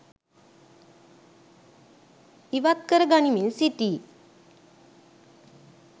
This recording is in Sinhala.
ඉවත් කර ගනිමින් සිටී.